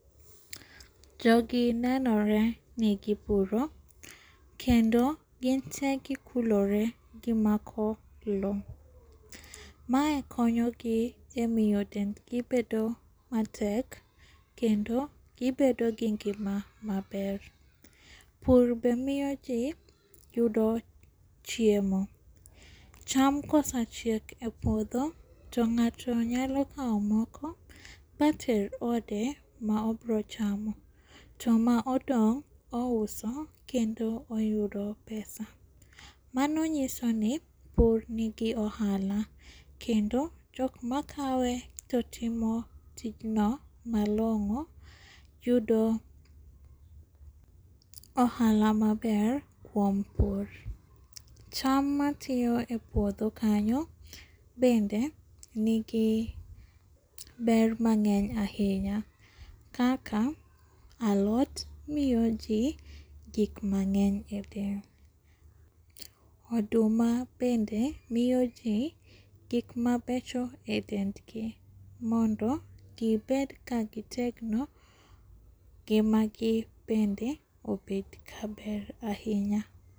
Jogi nenore ni gipuro, kendo ginte gikulore gimako lo. Mae konyogi e miyo dendgi bedo matek, kendo gibedo gi ngima maber. Pur be miyo ji yudo chiemo. Cham kosachiek e puodho to ng'ato nyalo kao moko bater ode maobiro chamo, to ma odong' ouso kendo oyudo pesa. Mano nyisoni pur nigi ohala, kendo jokma kawe totimo tijno malong'o yudo ohala maber kuom pur. Cham matiyo e puotho kanyo bende nigi ber mang'eny ahinya, kaka alot miyo jii gik mang'eny e del. Oduma bende miyo jii gikma becho e dendgi mondo gibed ka gitegno, ngima gi bende obed kaber ahinya.